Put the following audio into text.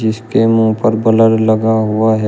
जिसके मुंह पर ब्लर लगा हुआ है।